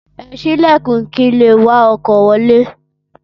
Ẹ sí Ìlẹ̀kùn kin leè wá ọkọ̀ wọlé